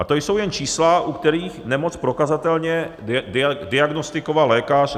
A to jsou jen čísla, u kterých nemoc prokazatelně diagnostikoval lékař.